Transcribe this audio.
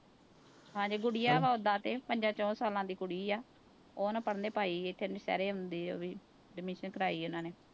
ਹਾਂਜੀ ਗੁਡੀਆ ਵਾ ਓਦਾਂ ਤੇ ਪੰਜਾ ਚਹੁੰ ਸਾਲਾਂ ਦੀ ਕੁੜੀ ਆ, ਉਹ ਨਾ ਪੜ੍ਹਨੇ ਪਾਈ ਇੱਥੇ ਉਹ ਵੀ admission ਕਰਵਾਈ ਉਹਨਾਂ ਨੇ।